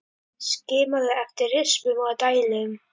Skimaðu eftir rispum og dældum.